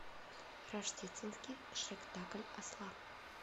рождественский шректакль осла